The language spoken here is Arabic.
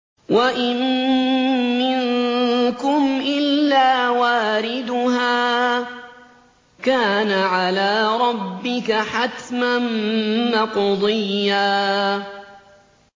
وَإِن مِّنكُمْ إِلَّا وَارِدُهَا ۚ كَانَ عَلَىٰ رَبِّكَ حَتْمًا مَّقْضِيًّا